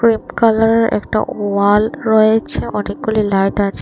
হলুদ কালারের একটা ওয়াল রয়েছে অনেকগুলি লাইট আছে।